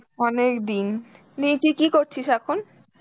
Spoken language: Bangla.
অনেকদিন, নে তুই কী করছিস এখন?